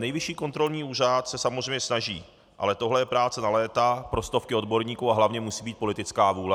Nejvyšší kontrolní úřad se samozřejmě snaží, ale tohle je práce na léta pro stovky odborníků a hlavně musí být politická vůle.